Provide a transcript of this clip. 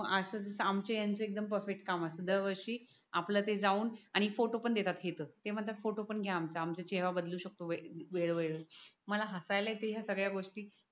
असंच आमचे यांचे एकदम परफेक्ट काम असते दरवर्षी आपलं ते जाऊन आणि फोटो पण देतात हे त ते म्हणतात फोटो पण घ्या आमच्या चेहरा बदलू शकतो वेळे वेळेवर मला हसायला येते या सगळ्या गोष्टी